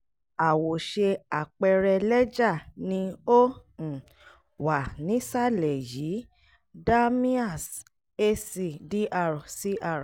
àwòṣe àpẹẹrẹ lẹ́jà ni ó um wà nísàlẹ̀ yìí: dalmia's a c dr cr